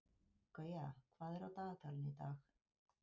Gauja, hvað er á dagatalinu í dag?